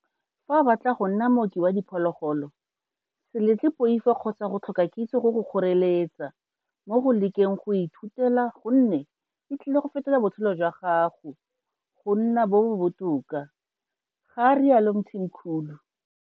Fa o batla go nna mooki wa diphologolo, se letle poifo kgotsa go tlhoka kitso go go kgoreletsa mo go lekeng le go e ithutela gonne e tlile go fetola botshelo jwa gago go nna bo bo botoka, ga rialo Mthimkhulu.